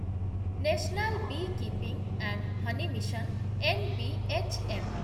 national beekeeping and honey mission, N B H M